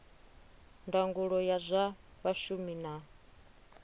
ndangulo ya zwa vhashumi na